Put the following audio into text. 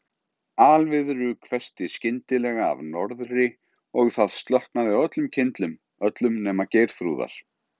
Alviðru hvessti skyndilega af norðri og það slokknaði á öllum kyndlum, öllum nema Geirþrúðar.